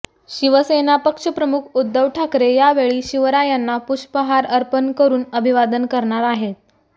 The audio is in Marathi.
शिवसेना पक्षप्रमुख उद्धव ठाकरे यावेळी शिवरायांना पुष्पहार अर्पण करून अभिवादन करणार आहेत